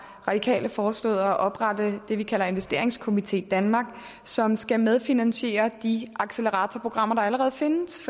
radikale foreslået at oprette det vi kalder investeringskomité danmark som skal medfinansiere de acceleratorprogrammer der allerede findes